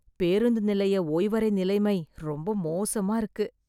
பேருந்து நிலைய ஓய்வறை நிலைமை ரொம்ப மோசமா இருக்கு.